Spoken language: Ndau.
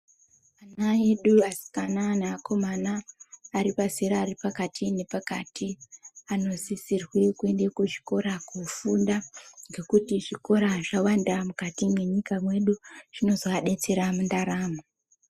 Ana edu asikana neakomana vaari pazera nepakati nepakati anosirwee kuenda kuzvikora kunofunda ngekuti zvikora zvakawanda mukati mwenyika yedu zvinozoabetsera mundaramo.